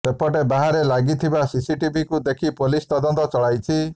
ସେପଟେ ବାହାରେ ଲାଗିଥିବା ସିସିଟିଭିକୁ ଦେଖି ପୋଲିସ ତଦନ୍ତ ଚଳାଇଛି